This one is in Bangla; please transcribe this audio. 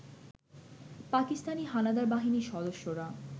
পাকিস্তানি হানাদার বাহিনীর সদস্যরা